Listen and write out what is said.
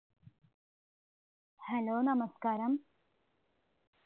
hello നമസ്കാരം